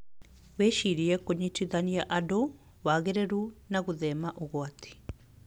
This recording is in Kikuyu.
Wĩcirie kũnyitanithia andũ, wagĩrĩru and gũthema ũgwati.